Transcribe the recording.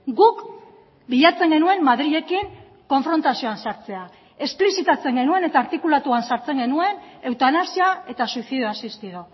guk bilatzen genuen madrilekin konfrontazioan sartzea esplizitatzen genuen eta artikulatuan sartzen genuen eutanasia eta suicidio asistido